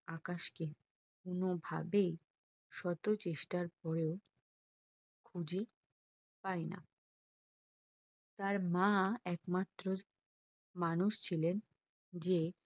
আকাশকে কোনোভাবেই শত চেষ্টার পরেও খুঁজে পাইনা তার মা একমাত্র মানুষ ছিলেন যে